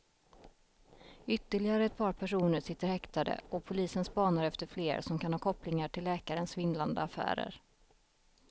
Ytterligare ett par personer sitter häktade och polisen spanar efter fler som kan ha kopplingar till läkarens svindlande affärer.